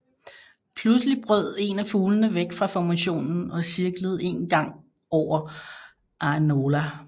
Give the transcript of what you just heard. Pludselig brød en af fuglene væk fra formationen og cirklede en gang over Ainola